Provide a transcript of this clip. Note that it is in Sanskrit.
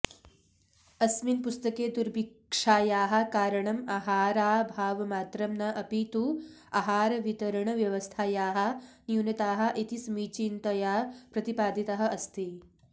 अस्मिन् पुस्तके दुर्भिक्षायाः कारणम् आहाराभावमात्रं न अपि तु आहारवितरणव्यवस्थायाः न्यूनताः इति समीचीनतया प्रतिपादितः अस्ति